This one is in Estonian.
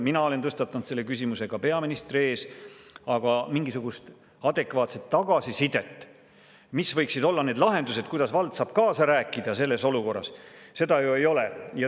Mina olen tõstatanud selle küsimuse ka peaministri ees, aga mingisugust adekvaatset tagasisidet, mis võiksid olla need lahendused, kuidas vald saab kaasa rääkida selles olukorras, ju ei ole.